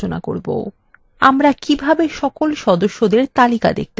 আমরা কিভাবে সকল সদস্যদের তালিকা দেখতে পাবো